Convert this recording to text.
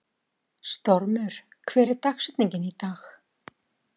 Stormur, hver er dagsetningin í dag?